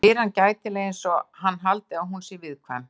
Svo spyr hann gætilega einsog hann haldi að hún sé viðkvæm.